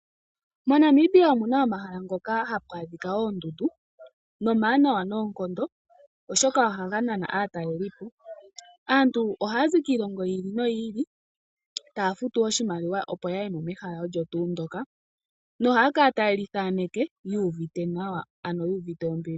MoNamibia omu na omahala hoka haku adhika oondundu nomawanawa noonkondo, oshoka ohaga nana aatalelipo. Aantu ohaya zi kiilongo yi ili no yi ili taya futu oshimaliwa opo ya ye mo mehala olyo tuu ndyoka. Ohaya kala taye li thaaneke yu uvite nawa, ano yu uvite ombili.